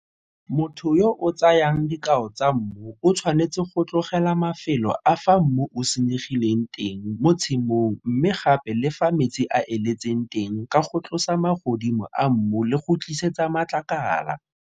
Motho yo o tsayang dikao tsa mmu o thswanetse go tlogela mafelo a fa mmu o senyegileng teng mo tshimong mme gape le fa metsi a eletseng teng ka go tlosa magodimo a mmu le go tlisetsa matlakala.